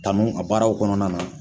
Tanu a baararaw kɔnɔna na